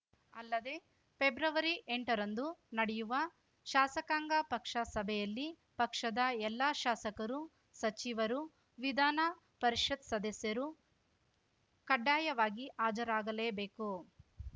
ಅಲ್ಲದೆ ಪೆಬ್ರವರಿಎಂಟರಂದು ನಡೆಯುವ ಶಾಸಕಾಂಗ ಪಕ್ಷ ಸಭೆಯಲ್ಲಿ ಪಕ್ಷದ ಎಲ್ಲಾ ಶಾಸಕರು ಸಚಿವರು ವಿಧಾನ ಪರಿಷತ್‌ ಸದಸ್ಯರೂ ಕಡ್ಡಾಯವಾಗಿ ಹಾಜರಾಗಲೇಬೇಕು